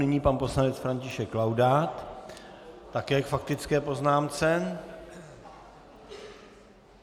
Nyní pan poslanec František Laudát také k faktické poznámce.